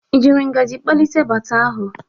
Ị jiri ngaji kpalite baata ahụ?